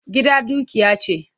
Gida dukiya ce.